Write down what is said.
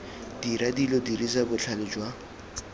dira dilo dirisa botlhale jwa